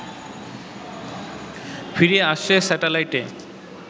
ফিরে আসছে স্যাটেলাইটে